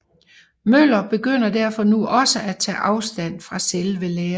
Møller begynder derfor nu også at tage afstand fra selve læren